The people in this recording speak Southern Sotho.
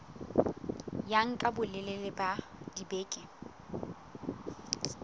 ya nka bolelele ba dibeke